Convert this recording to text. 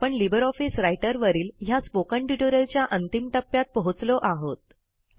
आपण LibreOffice Writer वरील ह्या स्पोकन ट्युटोरियलच्या अंतिम टप्प्यात पोहोचलो आहोत